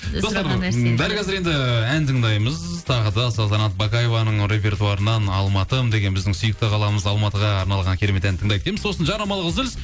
достар м дәл қазір енді ән тыңдаймыз тағы да салтанат бақаеваның репертуарынан алматым деген біздің сүйікті қаламыз алматыға арналған керемет әнді тыңдайық дейміз сосын жарнамалық үзіліс